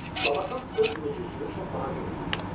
Labakan öz möcüzüsünü çox baha qiymətə satdı.